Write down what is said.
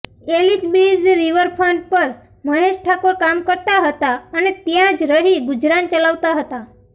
Ellisbridge riverfront પર મહેશ ઠાકોર કામ કરતા હતા અને ત્યાં જ રહી ગુજરાન ચલાવતા હતા